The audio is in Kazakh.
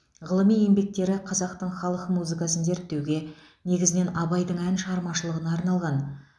ғылыми еңбектері қазақтың халық музыкасын зерттеуге негізінен абайдың ән шығармашылығына арналған